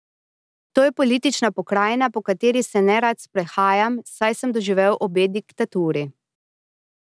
To je politična pokrajina, po kateri se nerad sprehajam, saj sem doživel obe diktaturi.